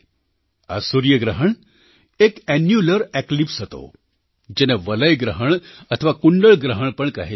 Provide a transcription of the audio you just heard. આ સૂર્યગ્રહણ એક એન્યુલરએક્લિપ્સ હતો જેને વલય ગ્રહણ અથવા કુંડળ ગ્રહણ પણ કહે છે